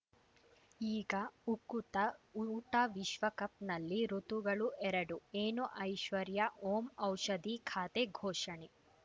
ಈಗ ಉಕುತ ಊಟ ವಿಶ್ವಕಪ್‌ನಲ್ಲಿ ಋತುಗಳು ಎರಡು ಏನು ಐಶ್ವರ್ಯಾ ಓಂ ಔಷಧಿ ಖಾತೆ ಘೋಷಣೆ